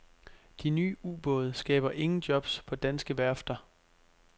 De nye ubåde skaber ingen jobs på danske værfter.